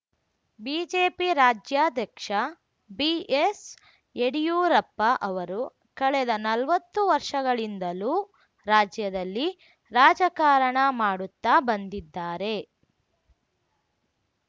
BJP ರಾಜ್ಯಾಧ್ಯಕ್ಷ ಬಿಎಸ್‌ಯಡಿಯೂರಪ್ಪ ಅವರು ಕಳೆದ ನಲ್ವತ್ತು ವರ್ಷಗಳಿಂದಲೂ ರಾಜ್ಯದಲ್ಲಿ ರಾಜಕಾರಣ ಮಾಡುತ್ತಾ ಬಂದಿದ್ದಾರೆ